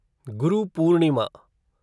Guru Purnima